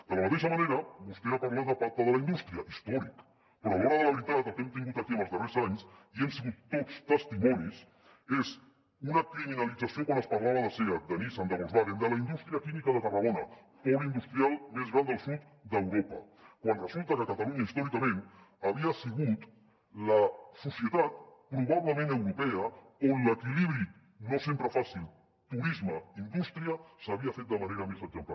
de la mateixa manera vostè ha parlat del pacte per a la indústria històric però a l’hora de la veritat el que hem tingut aquí en els darrers anys i n’hem sigut tots testimonis és una criminalització quan es parlava de seat de nissan de volkswagen de la indústria química de tarragona pol industrial més gran del sud d’europa quan resulta que catalunya històricament havia sigut la societat probablement europea on l’equilibri no sempre fàcil turisme indústria s’havia fet de manera més exemplar